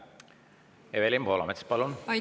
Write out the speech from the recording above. Evelin Poolamets, palun!